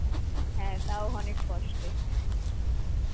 হ্যা তাও অনেক কষ্টে.